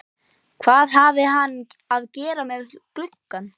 Hvað hafði hann að gera með glugga?